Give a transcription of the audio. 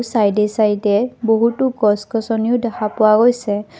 Side এ side এ বহুতো গছ-গছনিও দেখা পোৱা গৈছে।